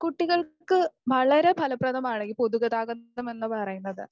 കുട്ടികൾക്ക് വളരെ ഫലപ്രദമാണ് ഈ പൊതുഗതാഗതം എന്ന് പറയുന്നത്.